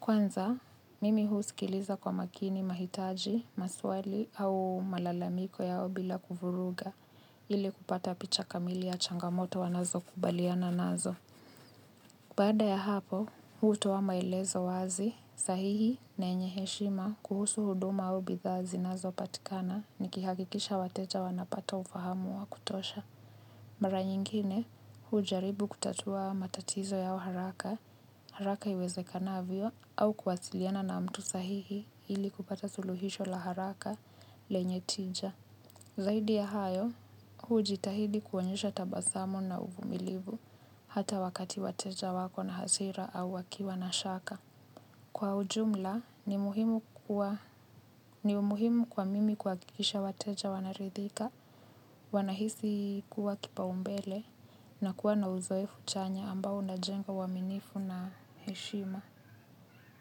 Kwanza, mimi husikiliza kwa makini mahitaji, maswali au malalamiko yao bila kuvuruga. Ili kupata picha kamili ya changamoto wanazo kubaliana nazo. Baada ya hapo, hutoa maelezo wazi, sahihi na enye heshima kuhusu huduma au bidhaa zinazo patikana ni kihakikisha wateja wanapata ufahamu wa kutosha. Mara nyingine, hujaribu kutatua matatizo yao haraka, haraka iweze kanavyo au kuwasiliana na mtu sahihi ili kupata suluhisho la haraka, lenye tija. Zaidi ya hayo, hujitahidi kuonyesha tabasamu na uvumilivu hata wakati wateja wako na hasira au wakiwa na shaka. Kwa ujumla, ni umuhimu kwa mimi kwa kikisha wateja wanaridhika, wanahisi kuwa kipa umbele na kuwa na uzoefu chanya ambao unaejnga uaminifu na heshima.